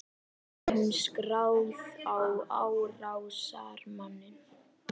Er hún skráð á árásarmanninn?